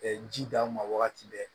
ji d'a ma wagati bɛɛ